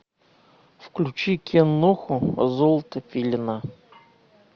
включи киноху золото филина